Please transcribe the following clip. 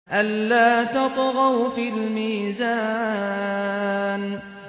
أَلَّا تَطْغَوْا فِي الْمِيزَانِ